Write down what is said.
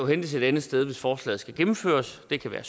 hentes et andet sted hvis forslaget skal gennemføres det kan være